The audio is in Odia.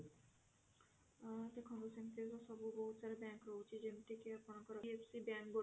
ଅ ଦେଖନ୍ତୁ ସେମିତି ତ ବହୁତ ସାରା bank ରହୁଛି ଯେମିତି କି ଆପଣଙ୍କର IFC bank ଗୋଟେ